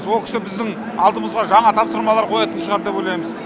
со кісі біздің алдымызға жаңа тапсырмалар қоятын шығар деп ойлаймыз